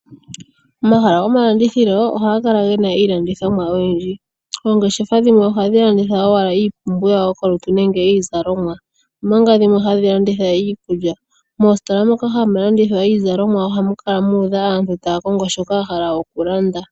Omahala gomalandithilo ohaga kala ge na iilandithomwa oyindji. Oongeshefa dhimwe ohadhi landitha owala iipumbiwa yokolutu nenge iizalomwa, omanga dhimwe hadhi landitha iikulya. Moositola moka hamu landithwa iizalomwa ohamu kala muudha aantu taya kongo shoka ya hala okulanda.